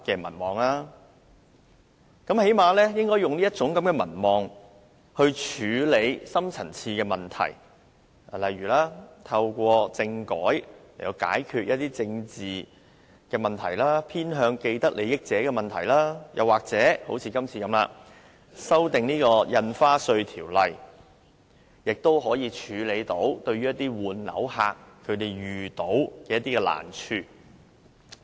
她最低限度應利用其民望處理深層次問題，例如透過政改解決一些政治問題、偏向既得利益者的問題，或正如今次會議般修訂《印花稅條例》，以解決換樓客遇到的難題。